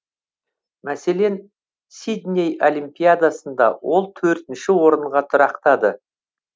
мәселен сидней олимпиадасында ол төртінші орынға тұрақтады